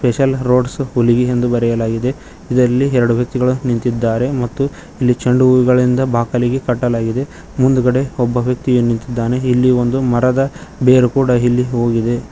Special roads Huligi ಎಂದು ಬರೆಯಲಾಗಿದೆ ಇದರಲ್ಲಿ ಎರಡು ವ್ಯಕ್ತಿಗಳು ನಿಂತಿದ್ದಾರೆ ಮತ್ತು ಇಲ್ಲಿ ಚೆಂಡು ಹೂವುಗಳಿಂದ ಬಾಕಲಿಗೆ ಕಟ್ಟಲಾಗಿದೆ ಮುಂದುಗಡೆ ಒಬ್ಬ ವ್ಯಕ್ತಿಯು ನಿಂತಿದ್ದಾನೆ ಮತ್ತೆ ಇಲ್ಲಿ ಒಂದು ಮರದ ಬೇರು ಕೂಡ ಇಲ್ಲಿ ಹೋಗಿದೆ.